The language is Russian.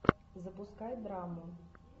запускай драму